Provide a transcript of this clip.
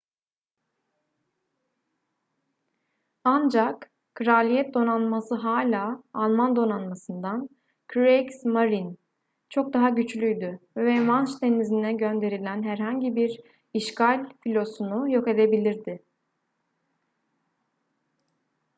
ancak kraliyet donanması hala alman donanmasından kriegsmarine çok daha güçlüydü ve manş denizi'ne gönderilen herhangi bir işgal filosunu yok edebilirdi